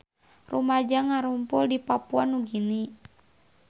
Rumaja ngarumpul di Papua Nugini